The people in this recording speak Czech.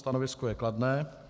Stanovisko je kladné.